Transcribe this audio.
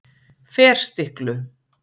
Ferstiklu